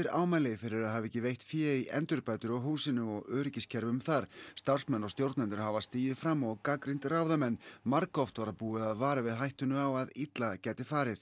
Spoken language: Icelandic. ámæli fyrir að hafa ekki veitt fé í endurbætur á húsinu og öryggiskerfum þar starfsmenn og stjórnendur hafa stigið fram og gagnrýnt ráðamenn margoft var búið að vara við hættunni á því að illa gæti farið